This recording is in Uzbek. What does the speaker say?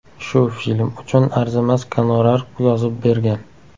Shu film uchun arzimas gonorar yozib bergan.